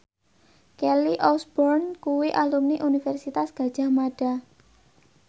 Kelly Osbourne kuwi alumni Universitas Gadjah Mada